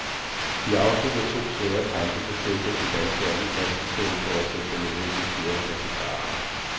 De afsluttende to svære kamp befæstede den danske andenplads i stedet for at sætte den nødvendige fjerdeplads i fare.